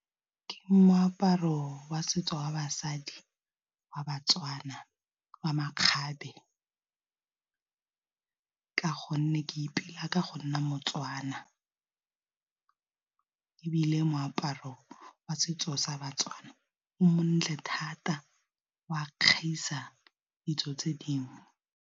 Ke moaparo wa setso wa basadi wa baTswana wa makgabe, ka gonne ke ipolaya ka go nna moTswana wana e bile moaparo wa setso sa baTswana o montle thata, o a kgaisa ditso tse dingwe.